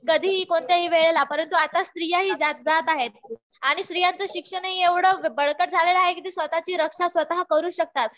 कधीही कोणत्याही वेळेला. परंतु आता स्त्रियाही जात आहेत. आणि स्त्रियांचं शिक्षणही एवढं बळकट झालेलं आहे कि त्या स्वतःची रक्षा स्वतः करू शकतात.